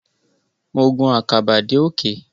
Mo gun àkàbà dé òkè.